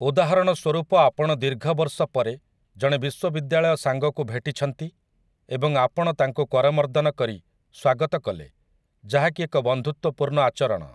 ଉଦାହରଣ ସ୍ୱରୂପ ଆପଣ ଦୀର୍ଘବର୍ଷ ପରେ ଜଣେ ବିଶ୍ୱବିଦ୍ୟାଳୟ ସାଙ୍ଗକୁ ଭେଟିଛନ୍ତି ଏବଂ ଆପଣ ତାଙ୍କୁ କରମର୍ଦ୍ଦନ କରି ସ୍ୱାଗତ କଲେ ଯାହାକି ଏକ ବନ୍ଧୁତ୍ୱପୂର୍ଣ୍ଣ ଆଚରଣ ।